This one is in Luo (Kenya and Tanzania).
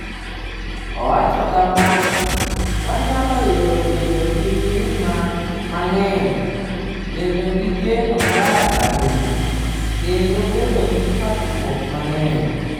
Owacho kama: “Wanyalo yiero bedo gi mirima mang’eny, bedo gi geno marach ahinya, kendo bedo gi pogruok mang’eny.”